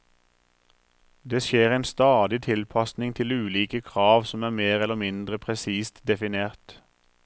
Det skjer en stadig tilpasning til ulike krav som er mer eller mindre presist definert.